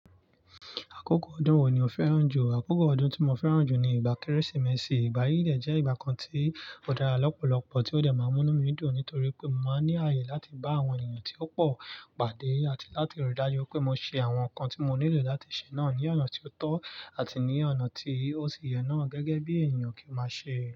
Àkókò ọdún wo ni o fẹ́ràn jù? Àkókò ọdún tí mo fẹ́ràn jù ni ìgbà Kérésìmesì. Ìgbà yíí dẹ̀ jẹ́ ìgbà kan tí ó dára lọ́pọ̀lọpọ̀ tí ó dẹ̀ máa mú mí dùn nítorí pé mo máa ní àyè láti bá àwọn èèyàn tí ó pọ̀ pàdé àti láti ríi dájú pé mo ṣe àwọn nǹkan tí mo nílò láti ṣe náà ní ọ̀nà tí ó tọ́ àti ní ọ̀nà tí ó sì yẹ náà gẹ́gẹ́ bí èniyàn kí n máa ṣe.